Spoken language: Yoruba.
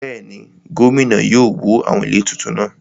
Bẹ́ẹ̀ni, gómìnà yóò wó àwọn ilé tuntun náà